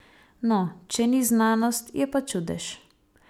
No, če ni znanost, je pa čudež.